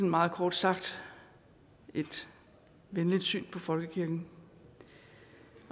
meget kort sagt et venligt syn på folkekirken